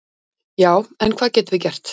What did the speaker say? """Já, en hvað getum við gert?"""